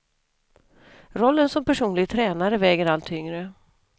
Rollen som personlig tränare väger allt tyngre.